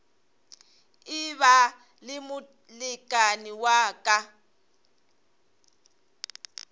eba le molekane wa ka